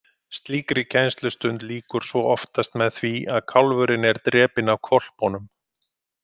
Slíkri kennslustund lýkur svo oftast með því að kálfurinn er drepinn af hvolpunum.